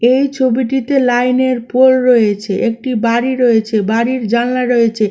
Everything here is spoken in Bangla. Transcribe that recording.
এই ছবিটিতে লাইনের পোল রয়েছে। একটি বাড়ি রয়েছে। বাড়ির জানলা রয়েছে।